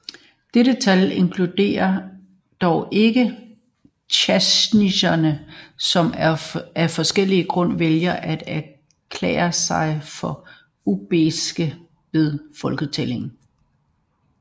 Dette tal inkluderer dog ikke tadsjikere som af forskellige grunde vælger at erklære sig for usbeker ved folketællinger